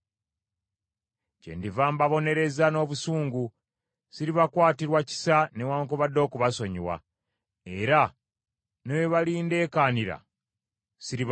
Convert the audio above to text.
Kyendiva mbabonereza n’obusungu; siribakwatirwa kisa newaakubadde okubasonyiwa, era ne bwe balindekaanira siribawuliriza.”